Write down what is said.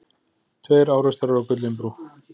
Tveir árekstrar á Gullinbrú